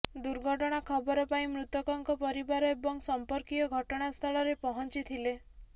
ଦୁର୍ଘଟଣା ଖବର ପାଇ ମୃତକଙ୍କ ପରିବାର ଏବଂ ସଂପର୍କୀୟ ଘଟଣା ସ୍ଥଳରେ ପହଞ୍ଚିଥିଲେ